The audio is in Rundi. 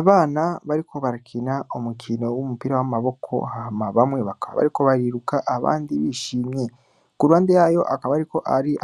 Abana bariko barakina umukino w'umupira w'amaboko hama bamwe bariko bariruka abandi bishimye. Ku ruhande hakaba hariko